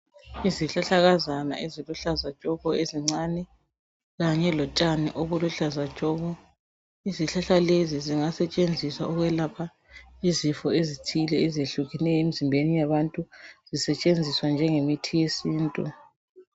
Izihlahlakazane eziluhlaza tshoko ezincane Kanye lotshani oluluhlaza tshoko. Izihlahla lezo zingasetshenziswa ukwelapha izifo ezithile ezehlukeneyo emzimbeni yabantu zisetshenziswe njenge mithi yesintu.